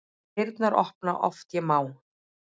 Dyrnar opna oft ég má.